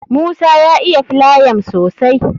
Musa ya iya filayam sosai